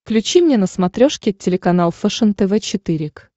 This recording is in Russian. включи мне на смотрешке телеканал фэшен тв четыре к